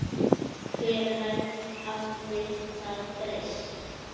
Hvenær hafði það breyst?